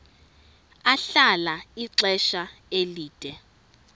ahlala ixesha elide